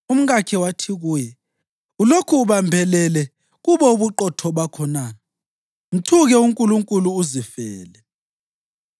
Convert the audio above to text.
Umkakhe wathi kuye, “Ulokhu ubambelele kubo ubuqotho bakho na? Mthuke uNkulunkulu uzifele!”